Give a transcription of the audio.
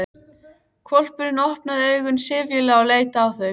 Hvolpurinn opnaði augun syfjulega og leit á þau.